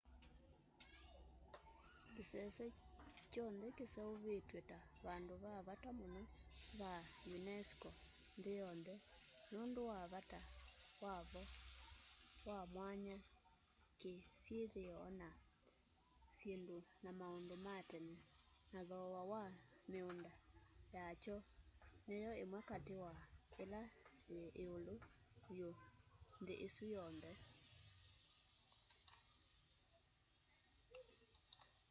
kĩsese kyonthe kĩseũvĩtw'e ta vandũ va vata mũno va unesco nthĩ yonthe nũndũ wa vata wavo wa mwanya kĩ syĩthĩo na syĩndu na maũndũ ma tene na thooa wa mĩũnda yaky'o nĩyo ĩmwe katĩ kwa ĩla yĩ ĩũlu vyũ nthĩ ĩsu yonthe